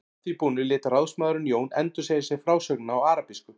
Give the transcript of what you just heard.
Að því búnu lét ráðsmaðurinn Jón endursegja sér frásögnina á arabísku.